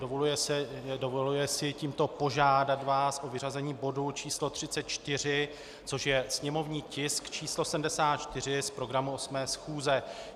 Dovoluje si tímto požádat vás o vyřazení bodu číslo 34, což je sněmovní tisk číslo 74, z programu 8. schůze.